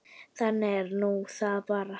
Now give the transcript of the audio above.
Þannig er nú það bara.